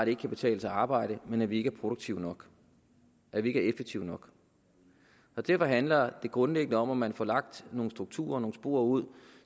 ikke kan betale sig at arbejde men at vi ikke er produktive nok at vi ikke er effektive nok derfor handler det grundlæggende om at man får lagt nogle strukturer og nogle spor ud